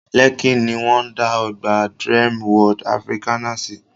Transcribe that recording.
Lẹ́kí ní wọ́n dá ọgbà Dreamworld Africana sí